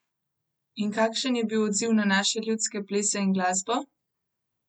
In kakšen je bil odziv na naše ljudske plese in glasbo?